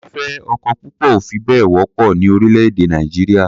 Fífẹ́ ọkọ púpọ̀ ò fi bẹ́ẹ̀ wọ́pọ̀ ní orílẹ̀-èdẹ̀ Nàìjíríà.